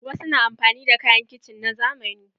Wasu na amfani da kayan kicin na zamani.